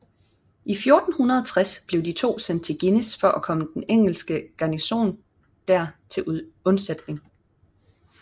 I 1460 blev de to sendt til Guînes for at komme den engelske garnison der til undsætning